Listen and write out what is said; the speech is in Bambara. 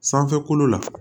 Sanfɛ kolo la